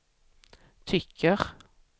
tycker